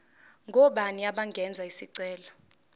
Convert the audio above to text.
ngobani abangenza isicelo